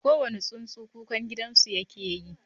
Kowane tsuntsu, kukan gidansu yake yi.